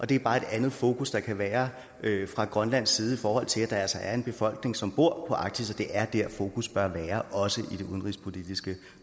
det er bare et andet fokus der kan være fra grønlands side i forhold til at der altså er en befolkning som bor på arktis og det er der fokus bør være også i det udenrigspolitiske